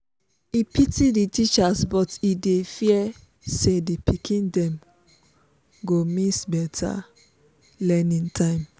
e pity the teachers but e dey fear say the pikin dem go miss better learning time.